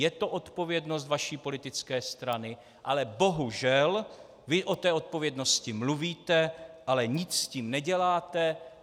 Je to odpovědnost vaší politické strany, ale bohužel, vy o té odpovědnosti mluvíte, ale nic s tím neděláte.